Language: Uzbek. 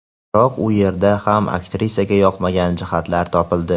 Biroq u yerda ham aktrisaga yoqmagan jihatlar topildi.